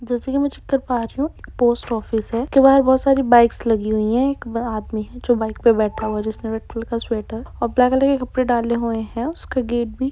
जैसे की में चेक कर पारही हूँ पोस्ट ऑफिस है उसके बाहर बहुत सारे बाइक लागी हुई है एक बड़ा आदमी जो बाइक पे बैटा हुआ जिसमे और ब्लैक कलर का कपड़े डाले हुए है हुयै है उसके गेट बी ।